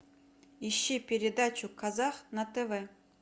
ищи передачу казах на тв